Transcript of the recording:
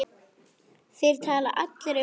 Þeir tala allir um París.